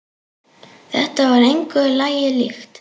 Þetta var engu lagi líkt.